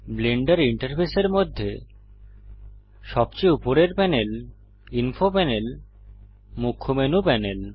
Blender ইন্টারফেসের মধ্যে সবচেয়ে উপরের প্যানেল ইনফো প্যানেল মুখ্য মেনু প্যানেল